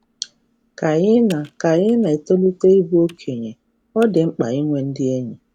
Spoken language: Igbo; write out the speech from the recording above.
Ka ị na Ka ị na etolite ịbụ onye okenye, ọ dị mkpa inwe ndị enyi